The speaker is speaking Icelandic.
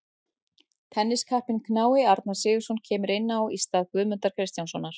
Tenniskappinn knái Arnar Sigurðsson kemur inn á í stað Guðmundar Kristjánssonar.